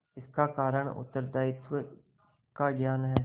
इसका कारण उत्तरदायित्व का ज्ञान है